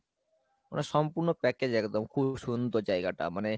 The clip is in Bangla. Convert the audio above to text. মানে সম্পূর্ণ package একদম খুব সুন্দর জায়গাটা মানে